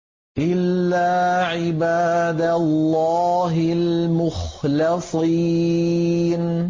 إِلَّا عِبَادَ اللَّهِ الْمُخْلَصِينَ